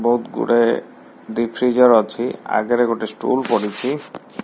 ବୋହୁତ୍ ଗୁଡ଼େ ଡିଫ୍ରିଜର୍ ଅଛି ଆଗେରେ ଗୋଟେ ଷ୍ଟୁଲ୍ ପଡ଼ିଛି।